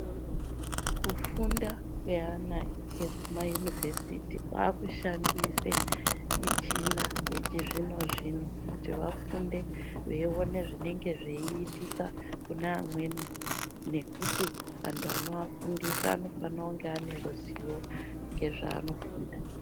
Kufunda kweana ekumayunivhesiti kwaakushandisa michina yechizvino zvino kuti vafunde veiona zvinenge zveitika kune amweni. Nekuti anthu anoafundisa anofanira kunge ane ruziwo ngezvaanofunda.